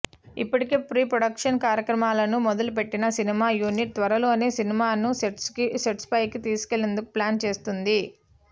ఇప్పటికే pre production కార్యక్రమాలను మొదలుపెట్టిన సినిమా యూనిట్ త్వరలోనే సినిమాను సెట్స్పైకి తీసుకెళ్ళేందుకు ప్లాన్ చేస్తోంది